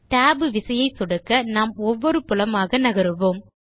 tab விசையை சொடுக்க நாம் ஒவ்வொரு புலமாக நகருவோம்